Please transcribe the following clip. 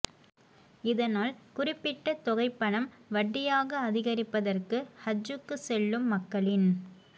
இதனால் குறிப்பிட்ட தொகைப் பணம் வட்டியாக அதிகரிப்பதற்கு ஹஜ்ஜுக்கு செல்லும் மக்களின்